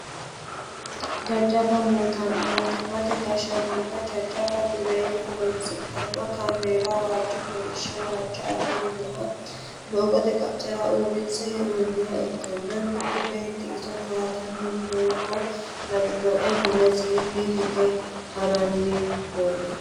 Jajjabba mootimmate gashshaanonna jajjabba dureeyye horonsidhano kaameella waajjo kolishsho walcho afi'noha doogote qaccera uurrinse hee'noonniha ikkanna mitu beettu iso towaattani nooho lawinoe mulesinni hige haranni noonna.